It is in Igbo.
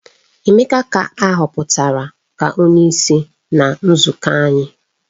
Emeka ka a hoputara ka onyeisi na nzuko anyi